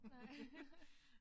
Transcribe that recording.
Nej